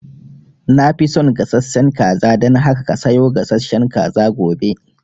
Na fi son gasashen kaza, dan haka ka sayo gasashen kaza gobe